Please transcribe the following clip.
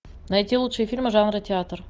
найти лучшие фильмы жанра театр